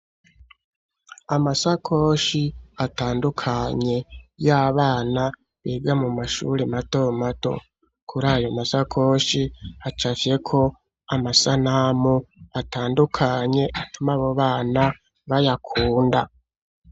Amasakoshi atandukanye y'abana bega mu mashuri matomato kuri ayo masakoshi hacavyeko amasanamu atandukanye atuma abobana bayakunda.